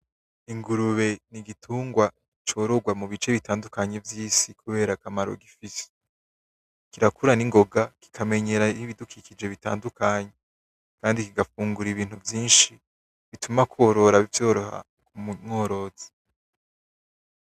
Ingurube n'igitungwa corogwa mu bice bitandukanye vy'isi kubera akamaro gifise. Kirakura ingoga kikamenyera ibidukikije bitandukanye kandi kigafungura ibintu vyinshi bituma korora bivyoroha kumworozi.